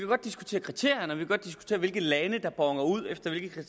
godt diskutere kriterierne og hvilke lande der boner ud efter hvilke